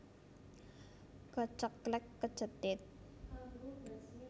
Keceklek kecethit